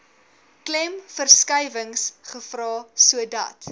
klemverskuiwings gevra sodat